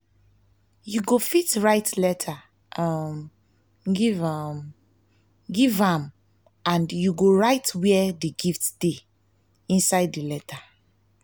you go fit write letter um give um give am and you go write where the gift dey inside the letter